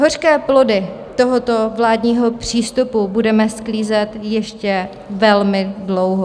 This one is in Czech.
Hořké plody tohoto vládního přístupu budeme sklízet ještě velmi dlouho.